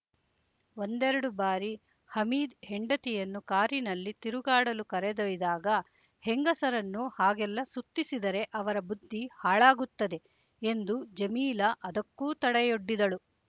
ಒಂದೆರಡು ಬಾರಿ ಹಮೀದ್ ಹೆಂಡತಿಯನ್ನು ಕಾರಿನಲ್ಲಿ ತಿರುಗಾಡಲು ಕರೆದೊಯ್ದಾಗ ಹೆಂಗಸರನ್ನು ಹಾಗೆಲ್ಲ ಸುತ್ತಿಸಿದರೆ ಅವರ ಬುದ್ಧಿ ಹಾಳಾಗುತ್ತದೆ ಎಂದು ಜಮೀಲ ಅದಕ್ಕೂ ತಡೆಯೊಡ್ಡಿದಳು